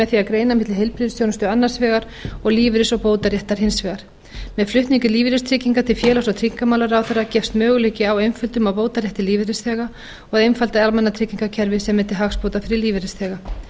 með því að greina milli heilbrigðisþjónustu annars vegar og lífeyris og bótaréttar hins vegar með flutningi lífeyristrygginga til félags og tryggingamálaráðherra gefst möguleiki á einföldun á bótarétti lífeyrisþega og að einfalda almannatryggingakerfið sem er til hagsbóta fyrir lífeyrisþega